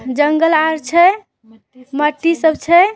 जंगल आर छै मट्टी सब छै।